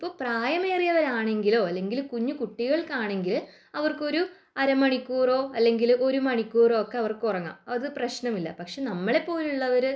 ഇപ്പോൾ പ്രായമേറിയവരാണെങ്കിലോ അല്ലെങ്കിൽ കുഞ്ഞു കുട്ടികൾക്കാണെങ്കിൽ അവർക്കൊരു അറ മണിക്കൂറോ ഒരു മണിക്കൂറോ ഉറങ്ങാം അത് പ്രശ്‌നമല്ല . പക്ഷെ നമ്മളെപോലുള്ളവര്